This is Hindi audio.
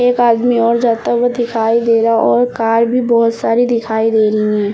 एक आदमी और जाता हुआ दिखाई दे रहा और कार भी बोहोत सारी दिखाई दे रही हैं।